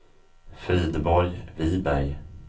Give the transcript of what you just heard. Frideborg Viberg